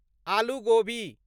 आलू गोबी